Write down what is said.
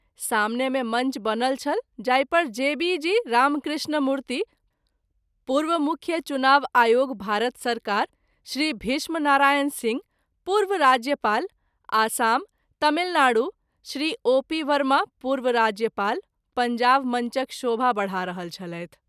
सामने मे मंच बनल छल जाहि पर जे० बी० जी० रामकृष्णमूर्ति, पूर्व मुख्य चुनाव आयोग भारत सरकार, श्री भीष्म नारायण सिंह, पूर्व राज्यपाल, आसाम, तामिलनाडू ,श्री ओ०पी० बर्मा पूर्व राज्यपाल, पंजाब मंचक शोभा बढा रहल छलैथ।